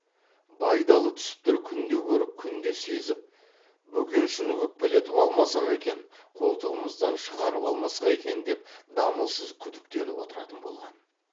байдалы түсіптер күнде көріп күнде сезіп бөкеншіні өкпелетіп алмасақ екен қолтығымыздан шығарып алмасқа екен деп дамылсыз күдіктеніп отыратын болған